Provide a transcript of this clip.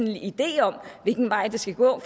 en idé om hvilken vej det skal gå